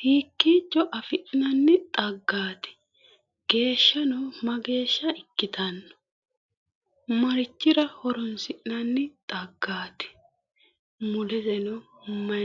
Hiikkicho afi'nanni xaggati? Geeshshano mageeshsha ikkitanno? Marichira horoonsi'nann xaggaati? Mulireno mayi no?